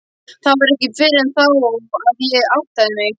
Það var ekki fyrr en þá að ég áttaði mig.